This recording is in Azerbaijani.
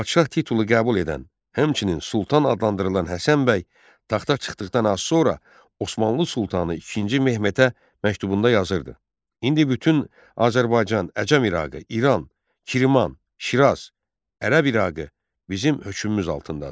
Padşah titulu qəbul edən, həmçinin Sultan adlandırılan Həsənbəy taxta çıxdıqdan az sonra Osmanlı sultanı II Mehmetə məktubunda yazırdı: İndi bütün Azərbaycan, Əcəm İrağı, İran, Kirman, Şiraz, Ərəb İrağı bizim hökmümüz altındadır.